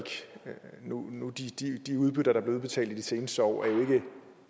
de udbytter der er blevet udbetalt i de seneste år er jo ikke